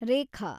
ರೇಖಾ